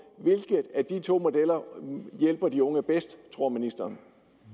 hvilke af de to modeller hjælper de unge bedst tror ministeren